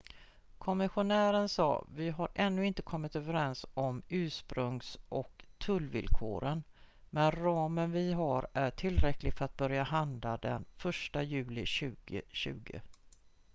"kommissionären sa: "vi har ännu inte kommit överens om ursprungs- och tullvillkoren men ramen vi har är tillräcklig för att börja handla den 1 juli 2020"".